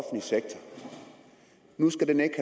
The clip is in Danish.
nu skal den ikke